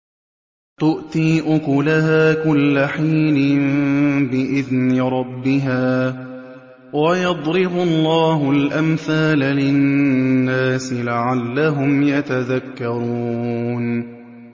تُؤْتِي أُكُلَهَا كُلَّ حِينٍ بِإِذْنِ رَبِّهَا ۗ وَيَضْرِبُ اللَّهُ الْأَمْثَالَ لِلنَّاسِ لَعَلَّهُمْ يَتَذَكَّرُونَ